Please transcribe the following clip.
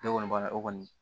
Ne kɔni b'a la o kɔni